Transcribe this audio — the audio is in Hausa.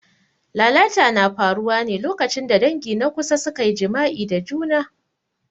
Lalata na faruwa ne lokacin da dangi na kusa suka yi jima'i da juna.